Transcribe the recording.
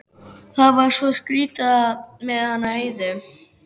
Það var svo skrýtið með hana Heiðu.